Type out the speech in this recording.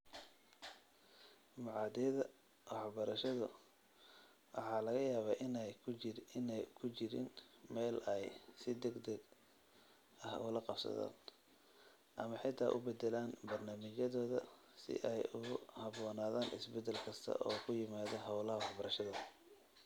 Machadyada waxbarashadu waxa laga yaabaa in aanay ku jirin meel ay si degdeg ah ula qabsadaan, ama xitaa u beddelaan barnaamijyadooda si ay ugu habboonaadaan isbeddel kasta oo ku yimaadda hawlaha warshadaha.